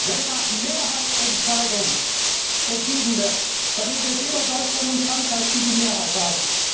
Wenn nach Mehrheitsentscheidung entschieden wird, dann sind es immer Deutschland und Frankreich, die die Mehrheit haben.